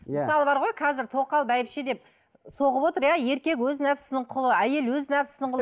иә мысалы бар ғой қазір тоқал бәйбіше деп соғып отыр иә еркек өз нәпсісінің құлы әйел өз нәпсісінің құлы